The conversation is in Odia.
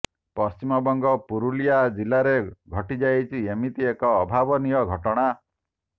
ପଶ୍ଚିମବଙ୍ଗ ପୁରୁଲିଆ ଜିଲ୍ଲାରେ ଘଟିଯାଇଛି ଏମିତି ଏକ ଅଭାବନୀୟ ଘଟଣା